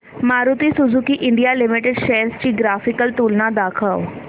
Maruti Suzuki India limited shares ची graphical तुलना दाखव